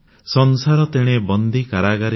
ସଂସାର ତେଣେ ବନ୍ଦୀ କାରାଗାରେ